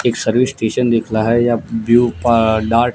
एक service station दिख लहा है या ब्ल्यू डार्ट ।